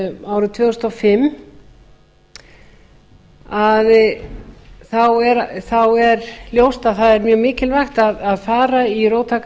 árið tvö þúsund og fimm sé ljóst að það er mjög mikilvægt að fara í róttækar